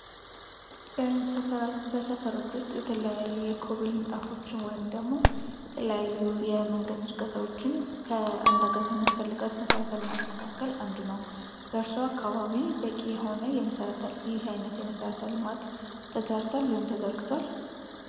በሰፈሮች ውስጥ የተለያዩ የኮብል ምንጣፎች ወይም ደግሞ የተለያዩ የመንገድ ዝርጋታዎችን ከአንድ አገር ከሚያስፈልጋት መሰረተ ልማት መካከል አንድ ነው። በእርሱ አካባቢ በቂ የሆነ የመሰረተ የመሰረተ ልማት ተሰርቷል ወይም ተዘርግቷል?